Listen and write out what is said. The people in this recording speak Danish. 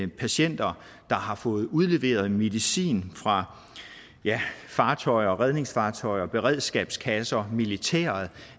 patienter der har fået udleveret medicin fra fartøjer redningsfartøjer beredskabskasser militæret